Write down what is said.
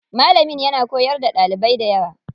Malamin yana koyar da ɗalibai dayawa.